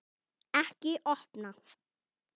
Ekki opna